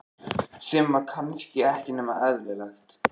Sem var kannski ekki nema eðlilegt.